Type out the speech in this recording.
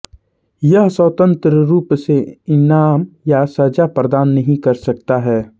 यह स्वतंत्र रूप से इनाम या सजा प्रदान नहीं कर सकता है